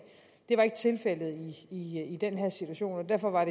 det var ikke tilfældet i i den her situation og derfor var